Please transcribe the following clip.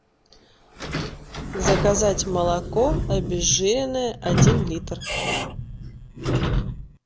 заказать молоко обезжиренное один литр